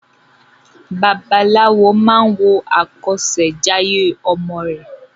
Babaláwo máa wo àkọsèjayé ọmọ rè